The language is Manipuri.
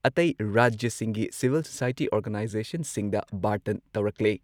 ꯑꯇꯩ ꯔꯥꯖ꯭ꯌꯁꯤꯡꯒꯤ ꯁꯤꯚꯤꯜ ꯁꯣꯁꯥꯏꯇꯤ ꯑꯣꯔꯒꯅꯥꯏꯖꯦꯁꯟꯁꯤꯡꯗ ꯕꯥꯔꯇꯟ ꯇꯧꯔꯛꯂꯦ